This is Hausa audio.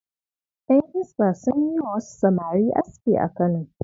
Yan Hisba sun yi wa wasu samari aski a Kano.